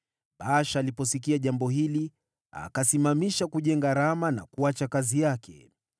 Baasha aliposikia jambo hili, akasimamisha kujenga Rama na kuacha kazi yake.